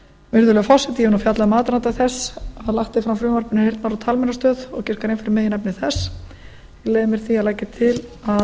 virðulegi forseti ég hef fjallað um aðdraganda þess að lagt er fram frumvarp um heyrnar og talmeinastöð og hef gert grein fyrir meginefni